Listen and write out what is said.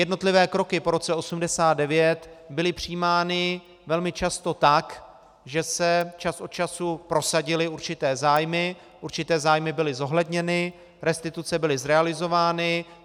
Jednotlivé kroky po roce 1989 byly přijímány velmi často tak, že se čas od času prosadily určité zájmy, určité zájmy byly zohledněny, restituce byly zrealizovány.